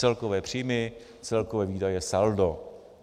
Celkové příjmy, celkové výdaje, saldo.